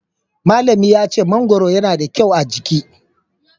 Malllami na ya ce mangoro yana da kyau a giki